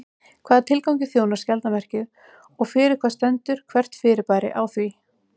Hvaða tilgangi þjónar skjaldarmerkið og fyrir hvað stendur hvert fyrirbæri á því?